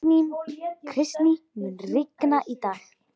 Kristý, mun rigna í dag?